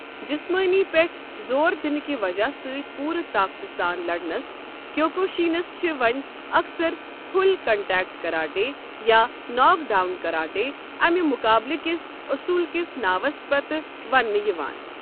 جسمٲنی پٮ۪ٹھ زور دِنہٕ کہِ وجہہ سۭتۍ پوٗرٕ طاقتہٕ سان لڑنس، کیوکوشینس چھِ وۄنۍ اکثر 'پُھل کنٹیکٹ کراٹے'، یا 'ناک ڈاؤن کراٹے' امہِ مقابلہٕ کِس اصول کِس ناوس پتہٕ وننہٕ یِوان۔